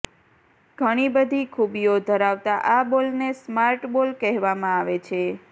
ઘણી બધી ખુબીઓ ધરાવતા આ બોલને સ્માર્ટબોલ કહેવામાં આવે છે